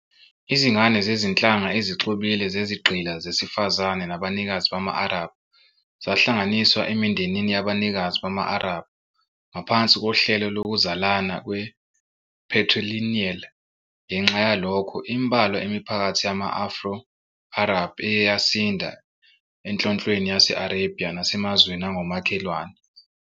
Izingane zezinhlanga ezixubile zezigqila zesifazane nabanikazi bama-Arab zahlanganiswa emindenini yabanikazi bama-Arab ngaphansi kohlelo lokuzalana kwe-patrilineal. Ngenxa yalokho, imbalwa imiphakathi yama-Afro-Arab eye yasinda eNhlonhlweni Yase-Arabia nasemazweni angomakhelwane.